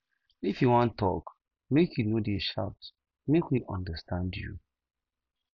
if you wan tok make you no dey shout make we understand you